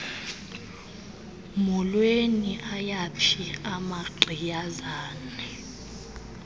mholweni ayaphi amagqiyazane